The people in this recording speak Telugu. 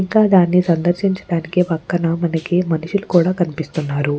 ఇంకా దాన్ని సందర్శించడానికి పక్కన మనకి మనుషులు కూడా కనిపిస్తున్నారు.